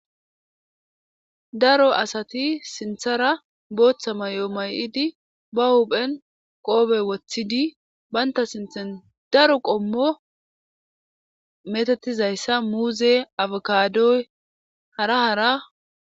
Daro asati sinthara booththa ma yoo may'idi ba huphen qoobey woththidi baynta sinthan daro qommo metatizayssa muuze afakadoy hara hara.